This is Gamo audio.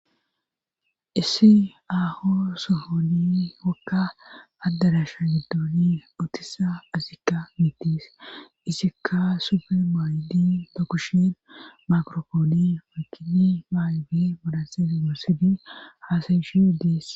Issi aaho sohoni wakka addadasha giddooni otisa asikka miitiis isikka supermaaydi dakushin makrophooni makini maaybi modhanseni moosodi haasayishe dies.